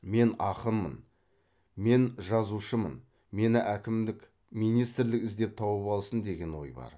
мен ақынмын мен жазушымын мені әкімдік министрлік іздеп тауып алсын деген ой бар